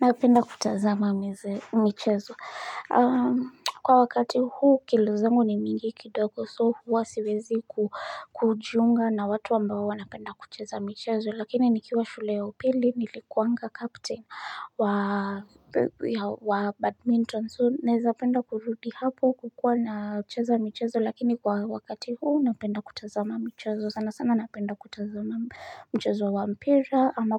Napenda kutazama michezo. Kwa wakati huu kilo zangu ni mingi kidogo so huwa siwezi kujiunga na watu ambao wanapenda kucheza michezo. Lakini nikiwa shule ya upili nilikuanga captain wa badminton so. Naeza penda kurudi hapo kukua nacheza michezo lakini kwa wakati huu napenda kutazama michezo sana sana napenda kutazama mchezo wa mpira ama